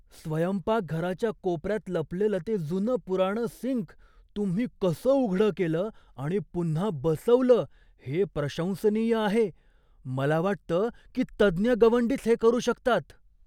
स्वयंपाकघराच्या कोपऱ्यात लपलेलं ते जुनंपुराणं सिंक तुम्ही कसं उघडं केलं आणि पुन्हा बसवलं हे प्रशंसनीय आहे. मला वाटतं की तज्ज्ञ गवंडीच हे करू शकतात.